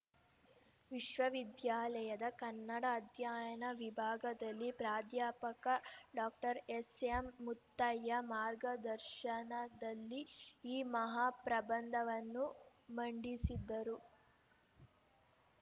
ವಿಶ್ವವಿದ್ಯಾಲಯದ ಕನ್ನಡ ಅಧ್ಯಯನ ವಿಭಾಗದಲ್ಲಿ ಪ್ರಾಧ್ಯಾಪಕ ಡಾಕ್ಟರ್ ಎಸ್‌ಎಂ ಮುತ್ತಯ್ಯ ಮಾರ್ಗದರ್ಶನದಲ್ಲಿ ಈ ಮಹಾಪ್ರಬಂಧವನ್ನು ಮಂಡಿಸಿದ್ದರು